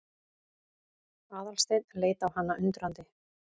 Aðalsteinn leit á hana undrandi.